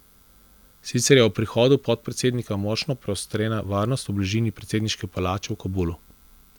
Sicer je ob prihodu podpredsednika močno poostrena varnost v bližini predsedniške palače v Kabulu.